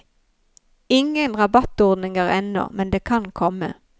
Ingen rabattordninger ennå, men det kan komme.